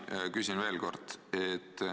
Ma küsin veel kord.